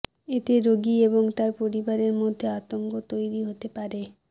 এতে রোগী এবং তাঁর পরিবারের মধ্যে আতঙ্ক তৈরি হতে পারে